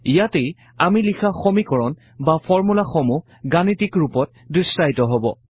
ইয়াতেই আমি লিখা সমীকৰণ বা ফৰ্মূলাসমূহ গাণিতিক ৰূপত দৃশ্যায়িত হব